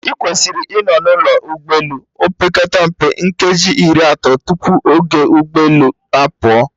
Ị kwesịrị ịnọ na ụlọ ụgbọ elu, opekata mpe nkeji iri atọ tupu oge ụgbọ elu a pụọ